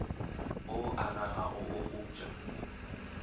o a ragoga o kgopša